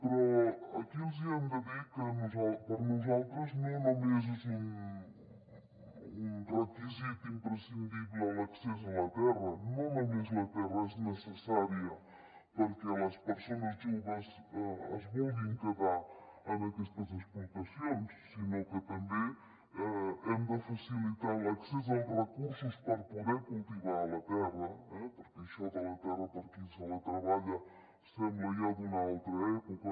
però aquí els hi hem de dir que per nosaltres no només és un requisit imprescindible l’accés a la terra no només la terra és necessària perquè les persones joves es vulguin quedar en aquestes explotacions sinó que també hem de facilitar l’accés als recursos per poder cultivar la terra eh perquè això de la terra per a qui se la treballa sembla ja d’una altra època